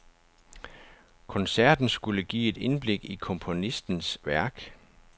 Koncerten skulle give et indblik i komponistens værk.